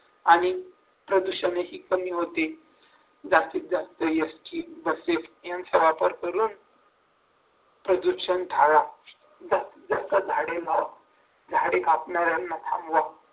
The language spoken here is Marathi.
आणि प्रदूषण ही कमी होते जास्तीत जास्त एसटी बसेस त्याचा वापर करून प्रदूषण टाळा जर काय झाडे मारून झाडे कापणार यांना थांबवा